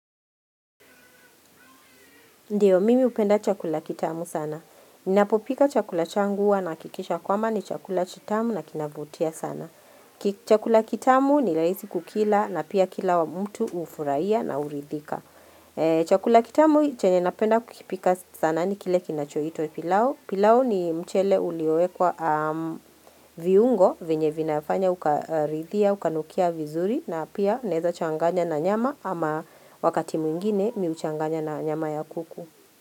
Ndio mimi upenda chakula kitamu sana. Ninapopika chakula changu huwa nahakikisha kwamba ni chakula kitamu na kinavutia sana. Chakula kitamu ni rahisi kukila na pia kila mtu hufurahia na hurithika. Chakula kitamu chenye napenda kukipika sana ni kile kinachoitwa pilau. Pilau ni mchele ulioekwa viungo vinye vinafanya ukaridhia, ukanukia vizuri na pia neza changanya na nyama ama wakati mwingine mimi huchanganya na nyama ya kuku.